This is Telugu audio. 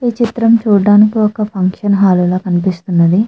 ఈ చిత్రము చూడానికి ఒక ఫంక్షన్ హల్ లాగ కనిపిస్తుంది.